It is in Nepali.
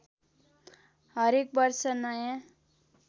हरेक वर्ष नयाँ